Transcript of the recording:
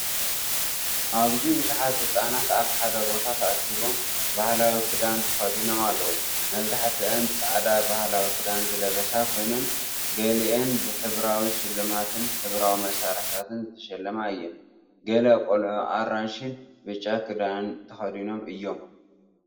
ኣብዚ ብዙሓት ህጻናት ኣብ ሓደ ቦታ ተኣኪቦም፣ ባህላዊ ክዳን ተኸዲኖም ኣለዉ። መብዛሕትአን ጻዕዳ ባህላዊ ክዳን ዝለበሳ ኮይነን፡ገሊአን ብሕብራዊ ሽልማትን ሕብራዊ መሳርሒታትን ዝተሽለማ እየን። ገለ ቆልዑ ኣራንሺን ብጫን ክዳን ተኸዲኖም እዮም።